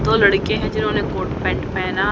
दो लड़के हैं जिन्होंने कोट पैंट पहना--